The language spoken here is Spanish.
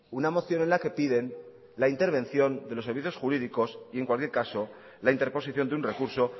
una moción en la que piden la intervención de los servicios jurídicos y en cualquier caso la interposición de un recurso